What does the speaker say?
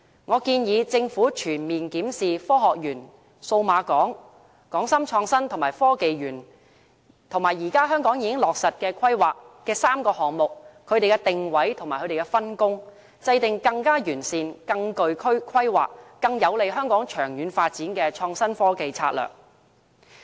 我建議政府全面檢視科學園、數碼港、港深創新及科技園，現時本港已落實規劃的3個項目的定位和分工，制訂更完善、更具規劃、更有利香港長遠發展的創新科技策略。